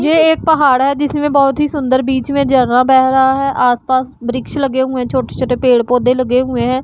यह एक पहाड़ है जिसमें बहोत ही सुंदर बीच में जर्रा बह रहा है आसपास वृक्ष लगे हुए है छोटे छोटे पेड़ पौधे लगे हुए हैं।